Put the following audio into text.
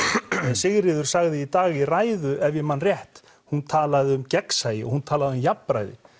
Sigríður sagði í dag í ræðu ef ég man rétt hún talaði um gegnsæi og hún talaði um jafnræði